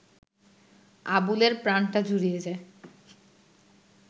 আবুলের প্রাণটা জুড়িয়ে যায়